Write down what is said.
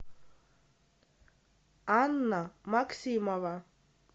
анна максимова